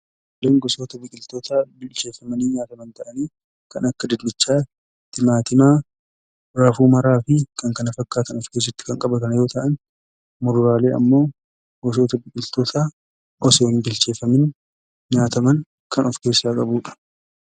Kuduraan gosoota biqiltootaa bilcheeffamanii nyaataman ta'anii kan akka dinnichaa, timaatimaa, raafuu maraa fi kan kana fakkaatan kan of keessatti qabatan yoo ta'an muduraaleen immoo gosoota biqiltootaa osoo hin bilcheeffamiin nyaataman kan of keessaa qabudha.